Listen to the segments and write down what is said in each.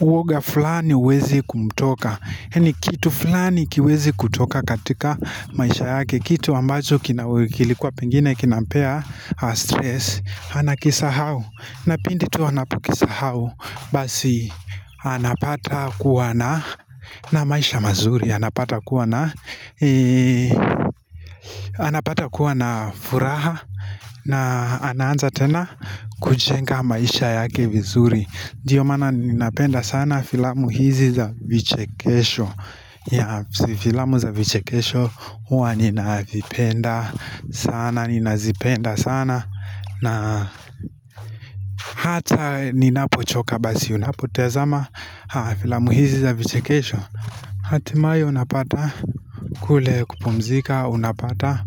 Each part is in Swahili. uoga fulani uweze kumtoka yani kitu flani kiweze kutoka katika maisha yake kitu ambacho kilikuwa pengine kinampea stress Anakisahau Napindi tu anapukisahau Basi anapata kuwa na na maisha mazuri anapata kuwa na anapata kuwa na furaha na anaanza tena kujenga maisha yake vizuri ndio mana ninapenda sana Filamu hizi za vichekesho Yeah filamu za vichekesho huwa ninavipenda sana Ninazipenda sana na hata ninapo choka basi unapotazama filamu hizi za vichekesho Hatimaye unapata kule kupumzika unapata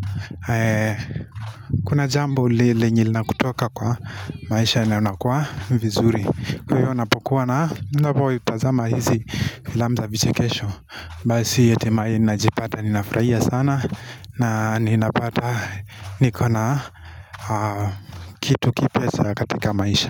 Kuna jambo lenye lina kutoka kwa maisha na unakua vizuri Kwa hiyo unapokuwa na unapo vitazama hizi filamu za vichekesho Basi hatimaye najipata ninafurahia sana na ninapata nikona kitu kipeza katika maisha.